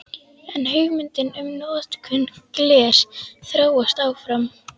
En hugmyndin um notkun glers þróast áfram.